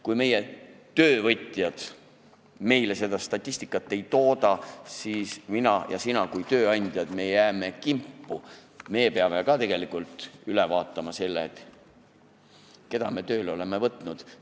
Kui meie töövõtjad meile seda statistikat ei tooda, siis mina ja sina kui tööandjad jääme kimpu ja me peame üle vaatama selle, keda me tööle oleme võtnud.